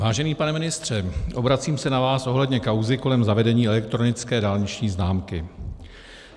Vážený pane ministře, obracím se na vás ohledně kauzy kolem zavedení elektronické dálniční známky.